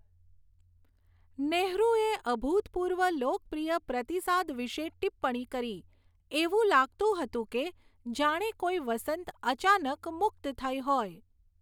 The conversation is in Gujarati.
નેહરુએ અભૂતપૂર્વ લોકપ્રિય પ્રતિસાદ વિશે ટિપ્પણી કરી, એવું લાગતું હતું કે જાણે કોઈ વસંત અચાનક મુક્ત થઈ હોય.